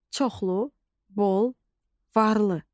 Çoxlu, bol, varlı.